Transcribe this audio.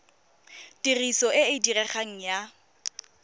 tiriso e e diregang ya